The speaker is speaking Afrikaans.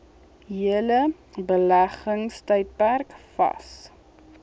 hele beleggingstydperk vas